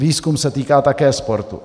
Výzkum se týká také sportu.